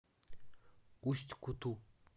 усть куту